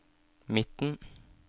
midten